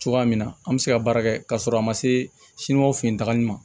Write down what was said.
Cogoya min na an bɛ se ka baara kɛ ka sɔrɔ a ma se o fɛ yen tali ma